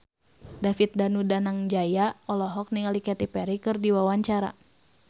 David Danu Danangjaya olohok ningali Katy Perry keur diwawancara